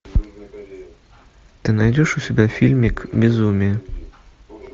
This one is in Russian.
ты найдешь у себя фильмик безумие